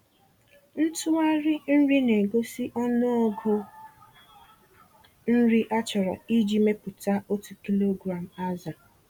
Ntughari nri na-egosi ọnụọgụ nri achọrọ iji mepụta otu kilogram azụ.